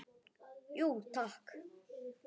Jú, takk.